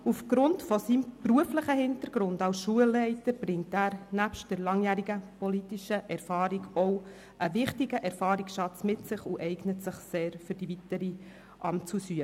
Aufgrund seines beruflichen Hintergrunds als Schulleiter bringt er neben der langjährigen politischen Erfahrung auch einen wichtigen Erfahrungsschatz mit und eignet sich für die weitere Amtsausübung sehr.